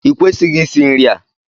Ị kwesịghị isì nri a!